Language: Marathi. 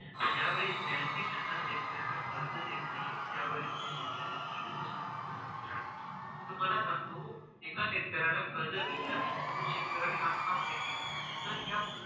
ज्या वेळेस bank ही त्यांना शेतकऱ्याला कर्ज देत नाही त्यावेळेस तुम्हाला सांगतो एका शेतकऱ्याला कर्ज भेटलं नाही म्हणून शेतकऱ्याने आत्महत्या केली तर ह्या